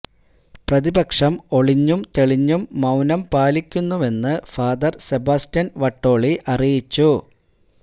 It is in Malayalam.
പ്രതിപക്ഷം ഒളിഞ്ഞും തെളിഞ്ഞും മൌനം പാലിക്കുന്നുവെന്ന് ഫാദര് സെബാസ്റ്റ്യന് വട്ടോളി അറിയിച്ചു